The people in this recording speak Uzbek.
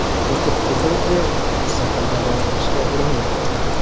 O‘tib ketadi, deb mustaqil davolanishga urinmang!